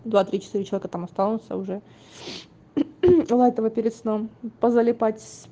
два три четыре человека там останутся уже у этого перед сном позалипать